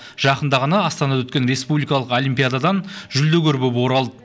жақында ғана астанада өткен республикалық олимпиададан жүлдегер боп оралды